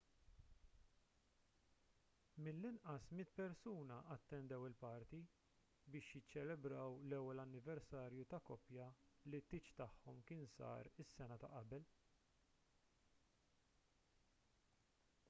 mill-inqas 100 persuna attendew il-party biex jiċċelebraw l-ewwel anniversarju ta' koppja li t-tieġ tagħhom kien sar is-sena ta' qabel